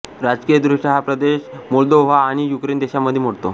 राजकीयदृष्ट्या हा प्रदेश मोल्दोव्हा आणि युक्रेन देशांमध्ये मोडतो